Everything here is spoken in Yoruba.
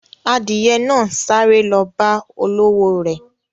Adiye náà ń sáré lọ bá olówò re.